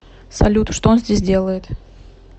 салют что он здесь делает